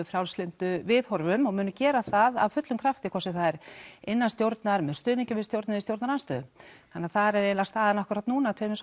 frjálslyndu viðhorfum og munum gera það að fullum krafti hvort sem það er innan stjórnar með stuðningi við stjórn eða í stjórnarandstöðu þannig þar er eiginlega staðan akkúrat núna tveimur